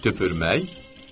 Tüpürmək?